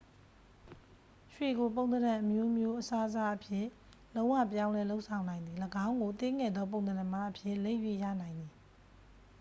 ရွှေကို ပုံသဏ္ဍန်အမျိုးမျိုးအစားအစားအဖြစ် လုံးဝပြောင်းလဲလုပ်ဆောင်နိုင်သည် ၎င်းကို သေးငယ်သောပုံသဏ္ဍန်များအဖြစ် လိပ်၍ရနိုင်သည်